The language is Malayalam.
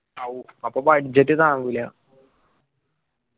ഔ അപ്പൊ budget താങ്ങുല്ല .